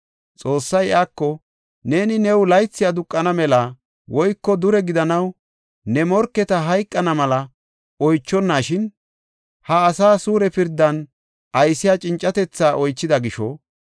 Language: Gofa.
Xoossay iyako, “Neeni new laythi aduqana mela woyko dure gidanaw woyko ne morketi hayqana mela oychonashin, ha asaa suure pirdan aysiya cincatethi oychida gisho,